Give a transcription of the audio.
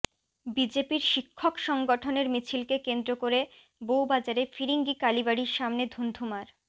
বিজেপির শিক্ষক সংগঠনের মিছিলকে কেন্দ্র করে বৌবাজারে ফিরিঙ্গি কালীবাড়ির সামনে ধুন্ধুমার